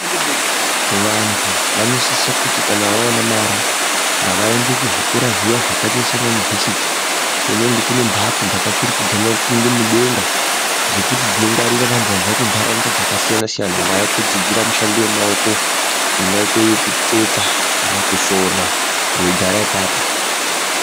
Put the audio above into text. Vantu vanosisa kuti kana vaona mari ngavaende kuzvikora zviya zvakaita saana yunivhesiti kunenge kunemhatso dzakaturikidzana kuende mudenga, dzekuti dzinongwarira vantu vabva kuntaraunda dzakasiyana-siyana vauya kudzidzira mishando yakasiyana-siyana ingaite yekutsetsa kana kusona veigara ipapo.